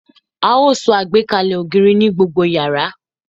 A ó so àgbékalẹ̀ ògiri ní gbogbo yàrá